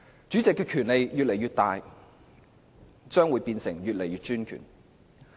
主席權力越大，便越專權。